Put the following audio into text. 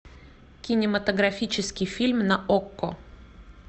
кинематографический фильм на окко